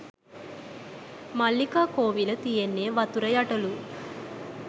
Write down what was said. මල්ලිකා කෝවිල තියෙන්නේ වතුර යටලු